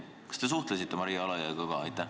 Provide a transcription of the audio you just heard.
Kas te suhtlesite Maria Alajõega ka?